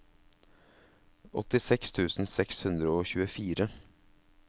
åttiseks tusen seks hundre og tjuefire